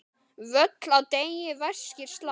Völl á degi vaskir slá.